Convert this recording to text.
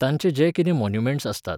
तांचे जे कितें मॉन्युमँट्स आसतात